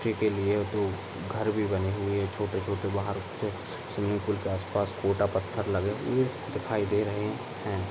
Stay के लिए घर भी ने हुए है छोटे-छोटे बाहर स्विमिंग पूल के आस-पास गोटा पत्थर लगे हुए दिखाई दे रहे है।